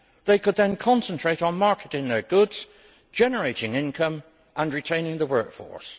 They could then concentrate on marketing their goods, generating income and retaining the workforce.